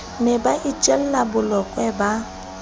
ne ba itjella bolokwe ba